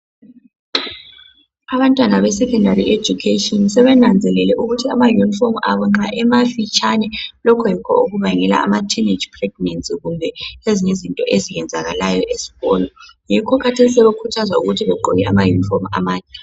Abantwana besecondary education sebenanzelele ukuthi ama uniform abo nxa emafitshane lokho yikho okubangela ama teenage pregnancy kumbe ezinye izinto eziyenzakalayo esikolo. Yikho kathesi sebekhuthazwa ukuthi begqoke ama uniform amade.